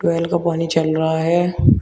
Tubewell का पानी चल रहा है।